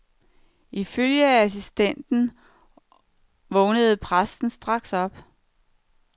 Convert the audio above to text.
Ifølge assistenten vågnede præsten straks op.